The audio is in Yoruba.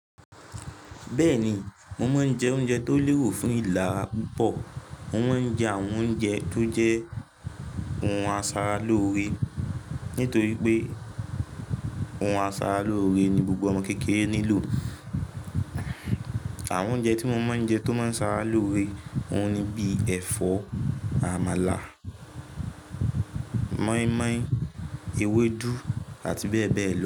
Bẹ́ẹ̀ni, mo máa ń jẹ oúnjẹ tó lérò fún ìlera púpọ̀. Mo máa ń jẹ àwọn oúnjẹ tó jẹ́ ohun asara lóore nítorí pé ohun asara lóore ni gbogbo ọmọ kékeré nílò. Àwọn oúnjẹ tí mo máa ń jẹ tó máa ń sára lóore òun ni bíi ẹ̀fọ́, àmàlà, mọ́ímọ́í, ewédú àti bẹ́ẹ̀ bẹ́ẹ̀ lọ.